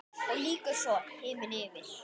Og lýkur svo: Himinn yfir.